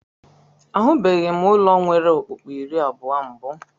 Ahụbeghị m ụlọ nwere ọkpụ́kpụ́ iri abụọ mbụ.